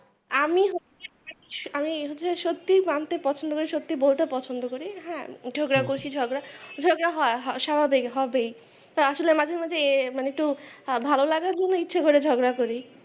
আমি আমি সত্যিই মানতে পছন্দ করি সত্যি বলতে পছন্দ করি হ্যাঁ ঝগড়া করেছি ঝগড়া ঝগড়া হয় স্বাভাবিক হবেই তো আসলে মাঝে মাঝে মানে একটু ভালো লাগার জন্য ইচ্ছে করে ঝগড়া করি।